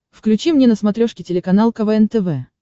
включи мне на смотрешке телеканал квн тв